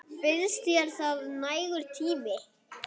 Finnst þér það nægur tími?